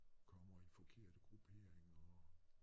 Kommer i forkerte grupperinger og